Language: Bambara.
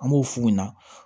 An b'o f'u ɲɛna